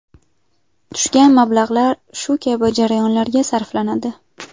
Tushgan mablag‘lar shu kabi jarayonlarga sarflanadi.